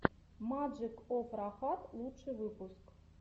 маджик оф рахат лучший выпуск